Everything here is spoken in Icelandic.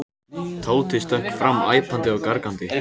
Tóti stökk fram æpandi og gargandi.